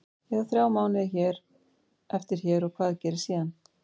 Ég á þrjá mánuði eftir hér og hvað gerist síðan?